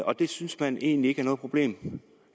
og det synes man egentlig ikke er noget problem